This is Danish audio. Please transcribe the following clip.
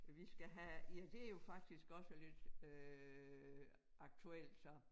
Vi skal have ja det jo faktisk også lidt øh aktuelt så